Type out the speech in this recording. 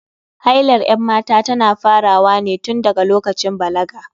Hailar 'yan mata tana farawa ne tun daga lokacin balaga.